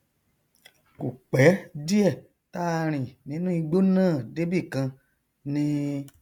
kò pẹ díẹ táa rìn nínú igbó náà débìkan ni